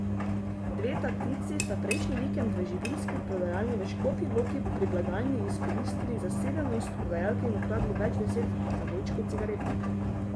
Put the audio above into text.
Dve tatici sta prejšnji vikend v živilski prodajalni v Škofji Loki pri blagajni izkoristili zasedenost prodajalke in ukradli več deset zavojčkov cigaret.